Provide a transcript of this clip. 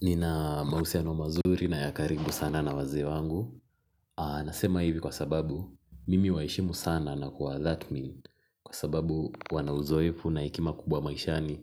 Nina mahusiano mazuri na ya karibu sana na wazee wangu nasema hivi kwa sababu mimi huwaheshimu sana na kuwa tathmini kwa sababu wana uzoefu na hekima kubwa maishani